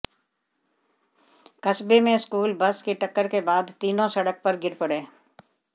कस्बे में school bus की टक्कर के बाद तीनों सड़क पर गिर पड़े